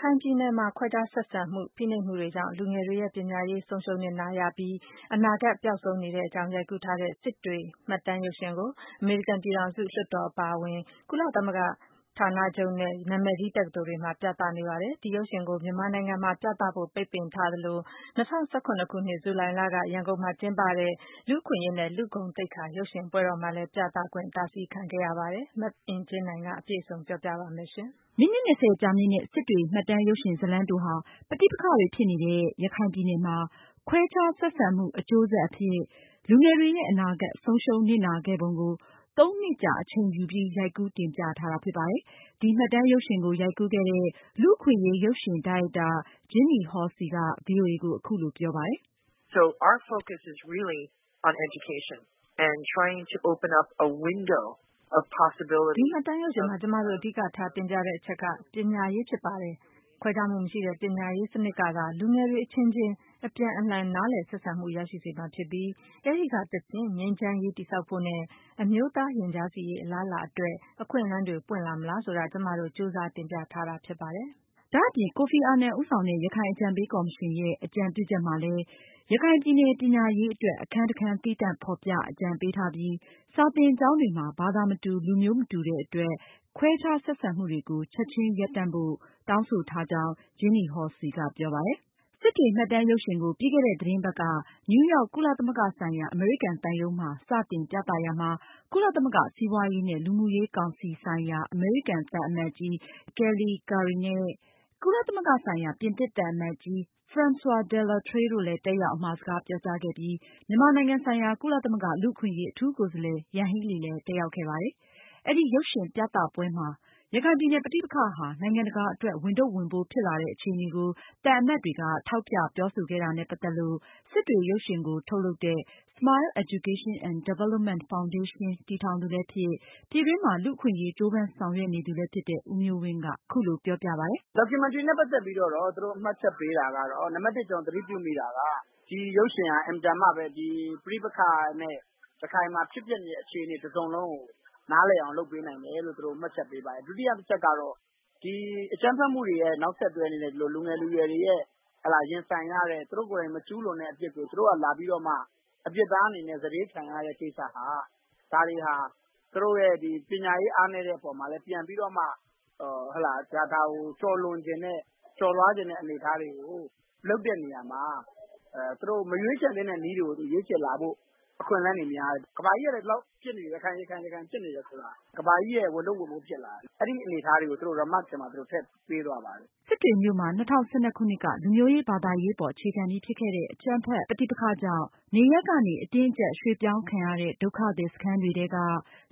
ခိုင်ပြည်နယ်မှာ ခွဲခြားဆက်ဆံမှု၊ ဖိနှိပ်မှုတွေကြောင့် လူငယ်တွေရဲ့ ပညာရေးဆုံးရှုံးနစ်နာပြီး အနာဂတ်ပျောက်ဆုံးနေတဲ့အကြောင်း ရိုက်ကူးတင်ပြထားတဲ့ (Sittwe) စစ်တွေ မှတ်တမ်းရုပ်ရှင် ကို အမေရိကန်ပြည်ထောင်စု လွှတ်တော် အပါအဝင် ကုလသမဂ္ဂဌာနချုပ်နဲ့ နာမည်ကြီး တက္ကသိုလ်တွေ မှာ ပြသနေပါတယ်။ ဒီရုပ်ရှင်ကို မြန်မာနိုင်ငံမှာ ပြသဖို့ ပိတ်ပင်ထားသလို ၂၀၁၇ ခုနှစ် ဇူလိုင်လက ရန်ကုန်မှာကျင်းပတဲ့ လူ့အခွင့်အရေးနဲ့ လူ့ဂုဏ်သိက္ခာရုပ်ရှင်ပွဲတော်မှာလည်း ပြသခွင့် တားဆီးခံခဲ့ရပါတယ်။ မအင်ကြင်းနိုင်က အပြည့်အစုံ ပြောပြမှာပါ။ မိနစ် ၂၀ ကြာမြင့်တဲ့ (Sittwe) စစ်တွေ မှတ်တမ်းရုပ်ရှင်ဇာတ်လမ်းတိုဟာ ပဋိပက္ခတွေဖြစ်နေတဲ့ ရခိုင်ပြည်နယ်မှာ ခွဲခြားဆက်ဆံမှု အကျိုးဆက်အဖြစ် လူငယ်တွေရဲ့ အနာဂတ် ဆုံးရှုံးနစ်နာခဲ့ပုံကို သုံးနှစ်ကြာ အချိန်ယူပြီး ရိုက်ကူးတင်ပြထားတာဖြစ်ပါတယ်။ ဒီမှတ်တမ်းရုပ်ရှင်ကို ရိုက်ကူးခဲ့တဲ့ လူ့အခွင့်အရေးရုပ်ရှင်ဒါရိုက်တာ Jeanne Hallacy က ဗွီအိုအေကို အခုလို ပြောပါတယ်။ “ဒီမှတ်တမ်းရုပ်ရှင်မှာ ကျမတို့ အဓိကထားတင်ပြတဲ့အချက်က ပညာရေးဖြစ်ပါတယ်။ ခွဲခြားမှုမရှိတဲ့ ပညာရေးစနစ်ကသာ လူငယ်တွေ အချင်းချင်း အပြန်အလှန်နားလည်ဆက်ဆံမှု ရရှိစေမှာဖြစ်ပြီး အဲဒီကတဆင့် ငြိမ်းချမ်းရေးတည်ဆောက်ဖို့ နဲ့ အမျိုးသားရင်ကြားစေ့ရေး အလားအလာအတွက် အခွင့်အလမ်းတွေ ပွင့်လာမလားဆိုတာ ကျမတို့ ကြိုးစားတင်ပြထားတာဖြစ်ပါတယ်။” ဒါအပြင် ကိုဖီအာနန်ဦးဆောင်တဲ့ ရခိုင်အကြံပေးကော်မရှင်ရဲ့ အကြံပြုချက်မှာလည်း ရခိုင်ပြည်နယ် ပညာရေးအတွက် အခန်းတခန်းသီးသန့်ဖေါ်ပြ အကြံပေးထားပြီး စာသင်ကျောင်းတွေမှာ ဘာသာမတူ၊ လူမျိုးမတူတဲ့အတွက် ခွဲခြားဆက်ဆံမှုတွေကို ချက်ချင်းရပ်တန့်ဖို့ လည်း တောင်းဆိုထားကြောင်း Jeanne Hallacy ကပြောပါတယ်။ “Sittwe” စစ်တွေ မှတ်တမ်းရုပ်ရှင်ကို ပြီးခဲ့တဲ့သတင်းပတ်က နယူးရောက် ကုလသမဂ္ဂဆိုင်ရာ အမေရိကန်သံရုံးမှာ စတင် ပြသရာမှာ ကုလသမဂ္ဂ စီးပွားရေးနဲ့ လူမှုရေး ကောင်စီဆိုင်ရာ အမေရိကန်သံအမတ်ကြီး Kelley Curri နဲ့ ကုလသမဂ္ဂဆိုင်ရာ ပြင်သစ်သံအမတ်ကြီး Francois Delattre တို့လည်း တက်ရောက် အမှာစကားပြောကြားခဲ့ပြီး မြန်မာနိုင်ငံဆိုင်ရာ ကုလသမဂ္ဂ လူ့အခွင့်အရေး အထူးကိုယ်စားလှယ် ယန်ဟီးလီ လည်း တက်ရောက် ခဲ့ပါတယ်။ “Sittwe” ရုပ်ရှင်ကို ထုတ်လုပ်တဲ့ Smile Education and Development Foundation တည်ထောင်သူလည်းဖြစ် ပြည်တွင်းမှာ လူအခွင့်အရေးကြိုးပမ်းဆောင်ရွက်နေသူလည်းဖြစ်တဲ့ ဦးမျိုးဝင်းက အခုလိုပြောပါတယ်။ “Documentary နဲ့ ပတ်သက်ပြီးတော့ သူတို့ မှတ်ချက်ပေးတာကတော့ နံပတ်၁ ကျနော်သတိပြုမိတာက ဒီရုပ်ရှင်က အင်မတန်မှပဲ ဒီပဋိပက္ခနဲ့ ရခိုင်မှာ ဖြစ်ပျက်နေတဲ့ အခြေအနေတစုံလုံးကို နားလည်အောင်လုပ်ပေးတယ်လို့ သူတို့မှတ်ချက်ပေးပါတယ်။ ဒုတိယတချက်ကတော့ ဒီအကြမ်းဖက်မှုတွေရဲ့ နောက်ဆက်တွဲအနေနဲ့ လူငယ်လူရွယ်တွေရဲ့ ရင်ဆိုင်ရတဲ့ သူတို့ကိုယ်တိုင်မကျူးလွန်တဲ့အပြစ်ကို သူတို့ကနေလာပြီးတော့မှ အပြစ်သားအနေနဲ့ စတေးခံရတဲ့ ကိစ္စ ဒါတွေဟာ သူတို့ရဲ့ ပညာရေးအားနည်းတဲ့ အပေါ်မှာလည်းပြန်ပြီးတော့မှ ဒါကို ကျော်လွှားချင်တဲ့အနေအထားတွေကို လုပ်တဲ့နေရာမှာ သူတို့မရွေးချယ်သင့်တဲ့နည်းတွေကို ရွေးချယ်လာတဲ့အခွင့်အလမ်းတွေများနေတယ်။ ကမ္ဘာကြီးကလည်း ဒီလောက် ရခိုင်မှာဖြစ်နေတယ်ဆိုတာ ကမ္ဘာကြီးရဲ့ ဝန်ထုတ် ဝန်ပိုးဖြစ်လာတယ်။ အဲဒီအနေအထားတွေကို သူတို့ Remark ထဲမှာ ထည့်ပေးသွားပါတယ်။” စစ်တွေမြို့မှာ ၂၀၁၂ ခုနှစ်က လူမျိုးရေး၊ ဘာသာရေးအပေါ်အခြေခံပြီး ဖြစ်ခဲ့တဲ့ အကြမ်းဖက် ပဋိပက္ခ ကြောင့် နေရပ်ကနေ အတင်းအကျပ်ရွှေ့ပြောင်းခံရတဲ့ ဒုက္ခသည်စခန်းတွေထဲက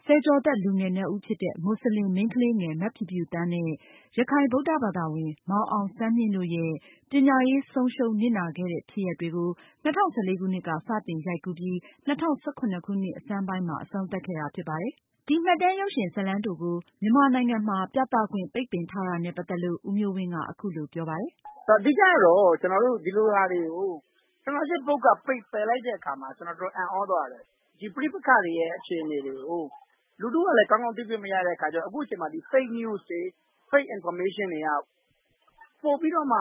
ဆယ်ကျော်သက်လူငယ်နှစ်ဦးဖြစ်တဲ့ မွတ်စလင် မိန်းကလေးငယ် မဖြူဖြူသန်းနဲ့ ရခိုင် ဗုဒ္ဓဘာသာဝင် မောင်အောင်ဆန်းမြင့်တို့ရဲ့ ပညာရေးဆုံးရှုံးနစ်နာခဲ့တဲ့ဖြစ်ရပ်တွေကို ၂၀၁၄ခုနှစ်က စတင်ရိုက်ကူးပြီး ၂၀၁၇ခုနှစ်ဆန်းပိုင်းမှာ အဆုံးသတ်ခဲ့တာဖြစ်ပါတယ်။ ဒီမှတ်တမ်းရုပ်ရှင် ဇာတ်လမ်းတိုကို မြန်မာနိုင်ငံမှာ ပြသခွင့် ပိတ်ပင်ထားတာနဲ့ ပတ်သက်လို့ ဦးမျိုးဝင်းက အခုလို ပြောပြပါတယ်။ “အဓိကတော့ ကျနော်တို့ ဒီလိုဟာတွေကို Censorship ဘုတ်အဖွဲ့က ပယ်လိုက်တဲ့အပေါ်မှာ တော်တော်အံ့သြသွားတယ်။ ဒီပဋိပက္ခတွေရဲ့ အခြေအနေကို လူထုကလည်းကောင်းကောင်းတွေ့ခွင့်မရတဲ့အခါကျတော့ အခုအချိန်မှာ Fake news တွေ Fake Information တွေ က ပိုပြီးတော့မှ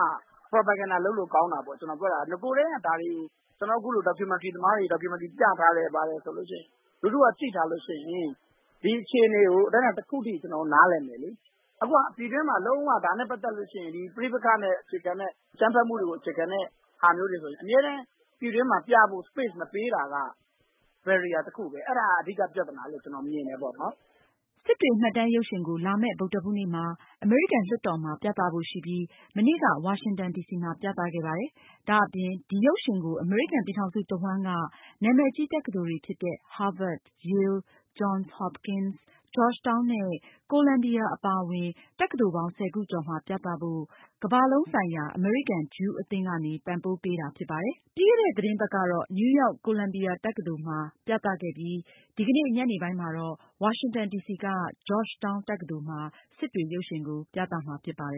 Propaganda လုပ်လို့ကောင်းတာပေါ့ ။ ဒါကိုနဂိုကတည်းက အခုလို Documentary သမားတွေ Documentary ပြထားတယ် ဆိုရင် လူထုက ကြည့်ထားတယ်ဆိုရင် ဒီအခြေအနေကို အတိုင်းအတာတခုအထိ နားလည်မယ်လေ။ အခုက ပြည်တွင်းမှာလုံး၀ ဒါနဲ့ ပတ်သက်လို့ရှိရင် ဒီပဋိပက္ခနဲ့အခြေခံတဲ့ အကြမ်းဖက်မှုတွေကို အခြေခံတဲ့ ဟာမျိုးတွေကို ပြည်တွင်းမှာပြဖို့ Space မပေးတာက barrier တခုပဲ အဲဒါ အဓိကပြဿနာလို့ ကျနော်မြင်တယ်။” Sittwe မှတ်တမ်းရုပ်ရှင်ကို လာမယ့် ဗုဒ္ဓဟူးနေ့မှာ အမေရိကန် လွှတ်တော်မှာ ပြသဖို့ရှိပြီး မနေ့က ဝါရှင်တန်ဒီစီမှာ ပြသခဲ့ပါတယ်။ ဒါ့အပြင် ဒီရုပ်ရှင်ကို အမေရိကန်ပြည်ထောင်စုတဝန်းက နာမည်ကြီး တက္ကသိုလ်တွေဖြစ်တဲ့ Harvard ၊ Yale ၊ Johns Hopkins ၊ Georgetown ၊ Colombia အပါအဝင် တက္ကသိုလ်ပေါင်း ၁၀ ခုကျော်မှာ ပြသဖို့ American Jewish World Service ကမ္ဘာလုံးဆိုင်ရာ အမေရိကန်-ဂျူး အသင်းကနေ ပံပိုးပေးတာဖြစ်ပါတယ်။ ပြီးခဲ့တဲ့ သတင်းပတ်က နယူးရောက်Colombia တက္ကသိုလ်မှာ ပြသခဲ့ပြီး ဒီကနေ့ ညနေပိုင်း မှာတော့ ဝါရှင်တန်ဒီစီက Georgetown တက္ကသိုလ်မှာ Sittwe ရုပ်ရှင်ကို ပြသမှာဖြစ်ပါတယ်